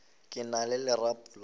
ke na le lerapo la